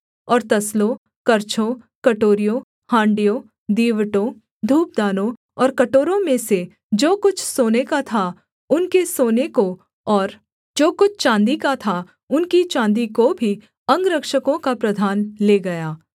और तसलों करछों कटोरियों हाँड़ियों दीवटों धूपदानों और कटोरों में से जो कुछ सोने का था उनके सोने को और जो कुछ चाँदी का था उनकी चाँदी को भी अंगरक्षकों का प्रधान ले गया